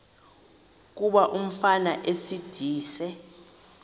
kuba umfana esindise